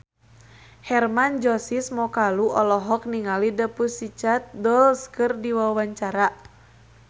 Hermann Josis Mokalu olohok ningali The Pussycat Dolls keur diwawancara